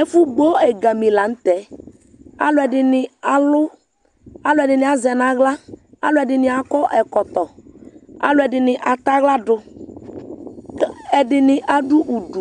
ɛfu gbɔ ɛgami lantɛ aloɛdini alu aloɛdini azɛ n'ala aloɛdini akɔ ɛkɔtɔ aloɛdini atɛ ala do ɛdini ado udu